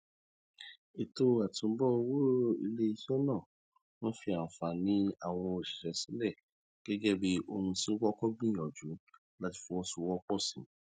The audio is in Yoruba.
ètò àtúnbọ owó iléiṣẹ náà fi àǹfààní àwọn òṣìṣẹ sílẹ gẹgẹ bí ohun tí wọn kọkọ gbìyànjú láti fọwọsowọpọ sí